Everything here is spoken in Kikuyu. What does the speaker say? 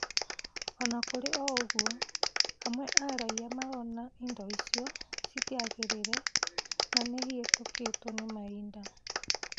Ona kũrĩ ũguo, amwe a raia marona indo icio citiagĩrĩire na nĩihĩtũkĩtwo nĩ mahinda